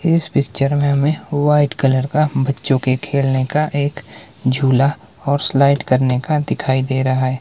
इस पिक्चर में हमें वाइट कलर का बच्चों के खेलने का एक झूला और स्लाइड करने का दिखाई दे रहा है।